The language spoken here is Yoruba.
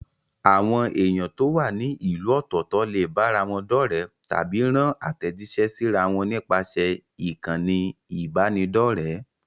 Àwọn èèyàn tó wà ní ìlú ọ̀tọ̀ọ̀tọ̀ lè bára wọn dọ́rẹ̀ẹ́ tàbí rán àtẹ̀jíṣẹ́ síra wọn nípasẹ̀ ìkànnì ìbánidọ́rẹ̀ẹ́.